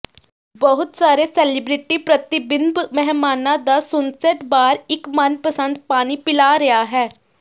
ਬਹੁਤ ਸਾਰੇ ਸੇਲਿਬ੍ਰਿਟੀ ਪ੍ਰਤੀਬਿੰਬ ਮਹਿਮਾਨਾਂ ਦਾ ਸੁਨਸੈੱਟ ਬਾਰ ਇੱਕ ਮਨਪਸੰਦ ਪਾਣੀ ਪਿਲਾ ਰਿਹਾ ਹੈ